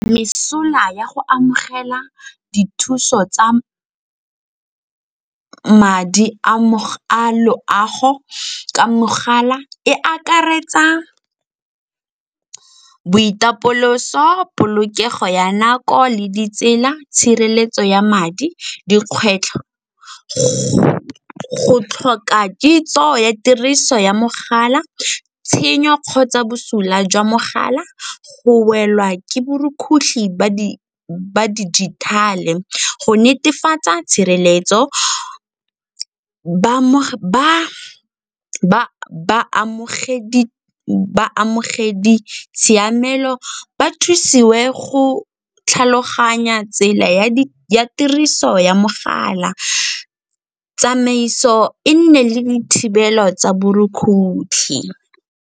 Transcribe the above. Mesola ya go amogela dithuso tsa madi a loago ka mogala e akaretsa boitapoloso, polokego ya nako le ditsela. Tshireletso ya madi, dikgwetlho, go tlhoka kitso ya tiriso ya mogala, tshenyo kgotsa bosula jwa mogala, go welwa ke borukgutlhi ba dijithale. Go netefatsa tshireletso baamogedi tshiamelo ba thusiwe go tlhaloganya tsela ya tiriso ya mogala, tsamaiso e nne le dithibelo tsa borukgutlhi.